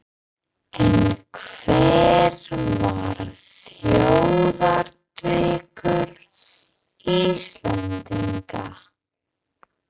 En hver var þjóðardrykkur Íslendinga?